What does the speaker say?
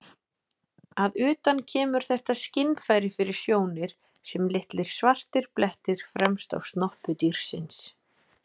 Að utan kemur þetta skynfæri fyrir sjónir sem litlir svartir blettir fremst á snoppu dýrsins.